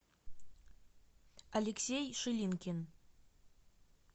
алексей шилинкин